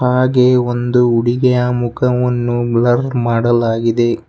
ಹಾಗೆ ಒಂದು ಹುಡುಗಿಯ ಮುಖವನ್ನು ಬ್ಲರ್ ಮಾಡಲಾಗಿದೆ.